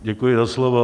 Děkuji za slovo.